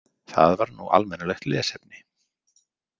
Það var nú almennilegt lesefni.